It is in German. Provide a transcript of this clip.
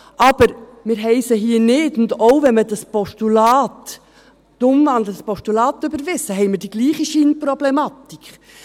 Aber hier haben wir sie nicht, und auch, wenn wir das Postulat überweisen, haben wir die gleiche Scheinproblematik.